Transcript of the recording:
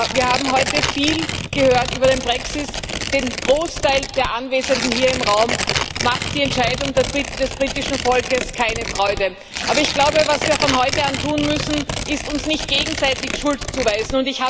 Wir haben heute viel über den Brexit gehört. Dem Großteil der Anwesenden hier im Raum macht die Entscheidung des britischen Volkes keine Freude. Ich glaube aber, was wir von heute an tun müssen, ist, uns nicht gegenseitig die Schuld zuzuweisen.